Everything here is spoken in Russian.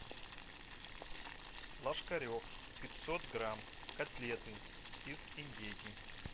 ложкарев пятьсот грамм котлеты из индейки